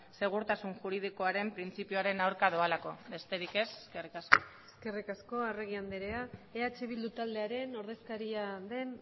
segurtasun juridikoaren printzipioaren aurka doalako besterik ez eskerrik asko eskerrik asko arregi andrea eh bildu taldearen ordezkaria den